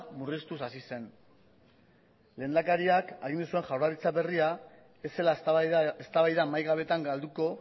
murriztuz hasi zen lehendakariak agindu zuen jaurlaritza berria ez zela eztabaida mahai gabetan galduko